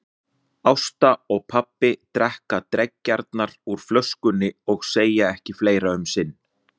Ásta og pabbi drekka dreggjarnar úr flöskunni og segja ekki fleira um sinn.